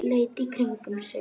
Leit í kringum sig.